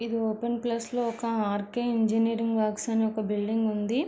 ఇది open place లో ఒక ఆర్కే ఇంజనీరింగ్ వర్క్స్ అని ఒక బిల్డింగ్ ఉంది.